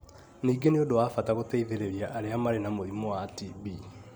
Ningĩ nĩ ũndũ wa bata gũteithĩrĩria arĩa marĩ na mũrimũ wa TB